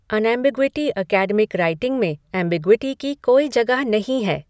Unambiguity academic writing में ambiguity की कोई जगह नहीं है।